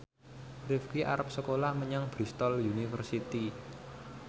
Rifqi arep sekolah menyang Bristol university